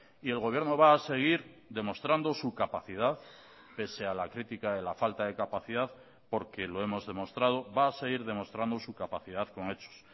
y el gobierno va a seguir demostrando su capacidad pese a la critica de la falta de capacidad porque lo hemos demostrado va a seguir demostrando su capacidad con hechos